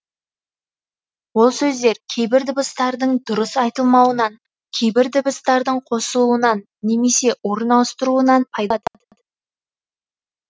ол сөздер кейбір дыбыстардың дұрыс айтылмауынан кейбір дыбыстардың қосылуынан немесе орын ауыстыруынан пайда болады